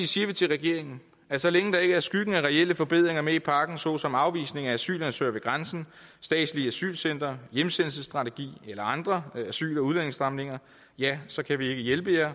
siger vi til regeringen at så længe der ikke er skyggen af reelle forbedringer med i pakken såsom afvisning af asylansøgere ved grænsen statslige asylcentre hjemsendelsesstrategi eller andre asyl og udlændingestramninger ja så kan vi ikke hjælpe